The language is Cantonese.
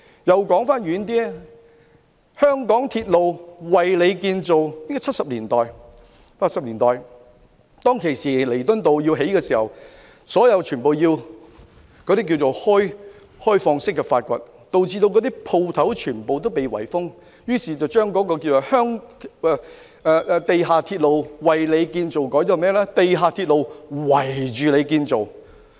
說得遠一點，"地下鐵路，為你建造"，地鐵於七八十年代在彌敦道興建時，整個路段要作開放式挖掘，導致店鋪全被圍封，於是有人把"地下鐵路，為你建造"的口號改為"地下鐵路，圍你建造"。